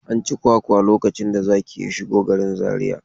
An ci kwakwa lokacin da zaki ya shigo garin Zariya.